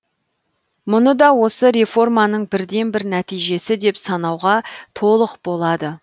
мұны да осы реформаның бірден бір нәтижесі деп санауға толық болады